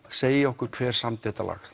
segja okkur hver samdi þetta lag